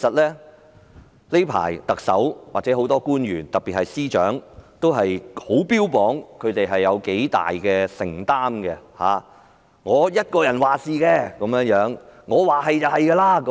最近特首或很多官員特別是司長也標榜他們有多大承擔，由自己一人作主，說一不二。